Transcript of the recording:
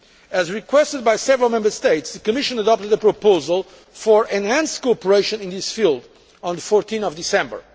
Patent. As requested by several Member States, the Commission adopted a proposal for enhanced cooperation in this field on 14 December.